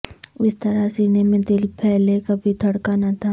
اس طرح سینے میں دل پہلے کبھی دھڑکا نہ تھا